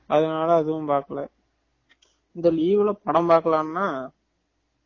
அதுனால எதும் பாக்கல இந்த leave ல படம் பாக்கலாம்னா